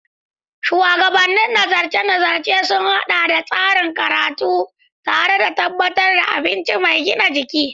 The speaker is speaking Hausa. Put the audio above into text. Shuwagabannin nazarce-nazarcen sun haɗa tsarin karatun tare don tabbatar da abinci mai gina jiki.